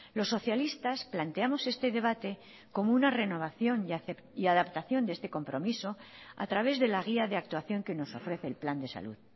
los socialistas planteamos este debate como una renovación y adaptación de este compromiso a través de la guía de actuación que nos ofrece el plan de salud